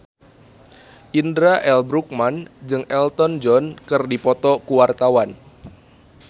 Indra L. Bruggman jeung Elton John keur dipoto ku wartawan